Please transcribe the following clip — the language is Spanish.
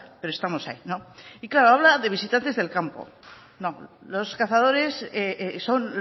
pero estamos ahí y claro habla de visitantes del campo no los cazadores son